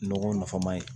Nɔgɔw nafama ye